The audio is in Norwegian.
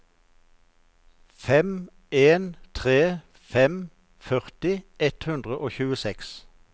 fem en tre fem førti ett hundre og tjueseks